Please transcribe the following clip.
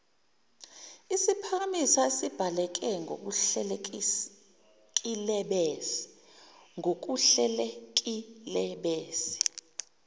siphakamiso esibhaleke ngokuhlelekilebese